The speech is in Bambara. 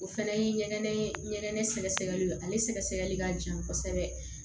O fana ye ɲɛgɛn ɲɛgɛn sɛgɛsɛgɛli ale sɛgɛsɛgɛli ka jan kosɛbɛ